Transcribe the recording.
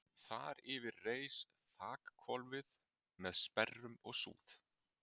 Þar yfir reis þakhvolfið með sperrum og súð.